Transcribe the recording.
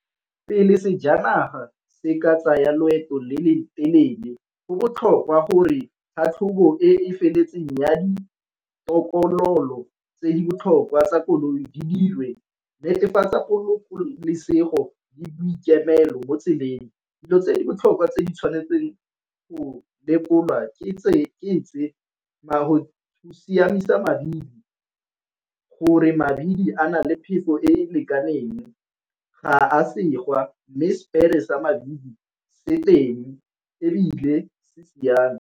Pele sejanaga se ka tsaya loeto le le telele go botlhokwa gore tlhatlhobo e feletseng ya ditokololo tse di botlhokwa tsa koloi di dirwe, netefatsa bolokolesego le boikemelo mo tseleng. Dilo tse di botlhokwa tse di tshwanetse go lekolwa ke tse siamisa mabili, gore mabili a na le phefo e e lekaneng ga a segwa, mme spare sa mabili se teng ebile se siame.